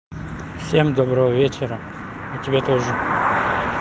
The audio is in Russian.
всем доброго вечера и тебе тоже